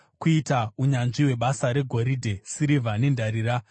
kuita unyanzvi hwebasa regoridhe, sirivha nendarira,